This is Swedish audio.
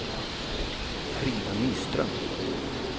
Frida Nyström